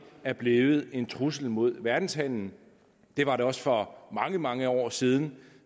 er blevet en trussel imod verdenshandelen det var det også for mange mange år siden